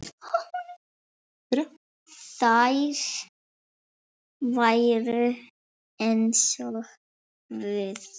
Þær væru eins og guð.